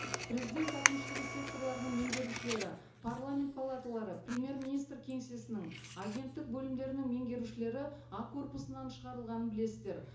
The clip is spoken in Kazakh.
президент әкімшілігі секторларының меңгерушілері парламент палаталары премьер министр кеңсесінің агенттік бөлімдерінің меңгерушілері а корпусынан шығарылғанын білесіздер